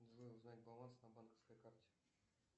джой узнать баланс на банковской карте